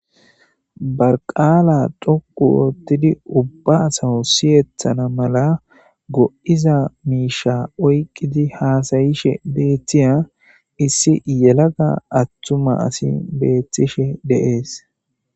barqala dhoqu oottidi ubba asawu siyetana mala go'iza miisha oyqidi haasayishe beetiya issi yelaga attuma asi betishe de'es